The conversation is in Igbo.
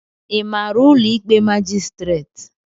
Ị maara ụlọ ikpe majistret?